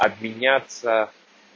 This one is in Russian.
обменяться